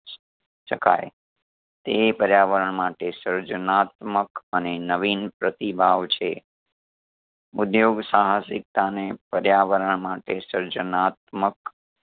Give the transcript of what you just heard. શકાય તે પર્યાવરણ માટે સર્જનાત્મક અને નવીન પ્રતિભાવ છે ઉધ્યોગ સાહસિકતાને પર્યાવરણ માટે સર્જનાત્મક